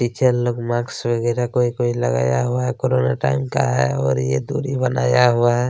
पीछे लोग मास्क कोंई-कोंई लगाया हुआ है कोरोना टाइम का है और ये दुरी बनाया हुआ है।